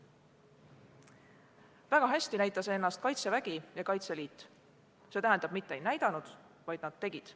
Väga heast küljest näitasid ennast Kaitsevägi ja Kaitseliit – täpsemalt öeldes, nad mitte ei näidanud, vaid nad tegid.